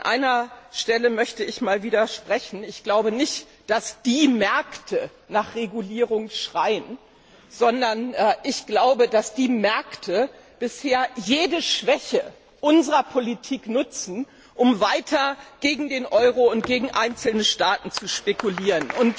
An einer Stelle möchte ich widersprechen Ich glaube nicht, dass die Märkte nach Regulierung schreien, sondern ich glaube, dass die Märkte bisher jede Schwäche unserer Politik nutzen, um weiter gegen den Euro und gegen einzelne Staaten zu spekulieren.